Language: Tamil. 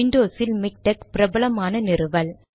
விண்டோஸ் இல் மிக்டெக் பிரபலமான நிறுவல்